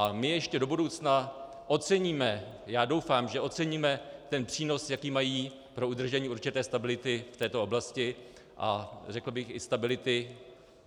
A my ještě do budoucna oceníme, já doufám, že oceníme, ten přínos, jaký mají pro udržení určité stability v této oblasti a řekl bych i stability